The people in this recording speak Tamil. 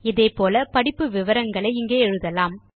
இதே போல படிப்பு விவரங்களை இங்கே எழுதலாம்